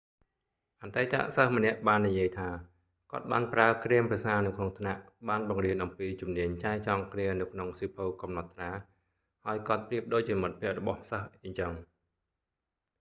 អតីតសិស្សម្នាក់បាននិយាយថា គាត់ បានប្រើគ្រាមភាសានៅក្នុងថ្នាក់ បានបង្រៀនអំពីជំនាញចែចង់គ្នានៅក្នុងសៀវភៅកំណត់ត្រា ហើយគាត់ប្រៀបដូចជាមិត្តភក្ដិរបស់សិស្សអីចឹង'